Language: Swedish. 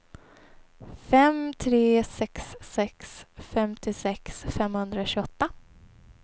fem tre sex sex femtiosex femhundratjugoåtta